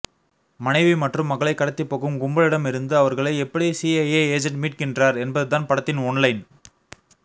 மனைவி மற்றும் மகளை கடத்திபோகும் கும்பலிடம் இருந்து அவர்களை எப்படி சிஐஏ எஜென் மிட்கின்றார் என்பதுதான் படத்தின் ஒன்லைன்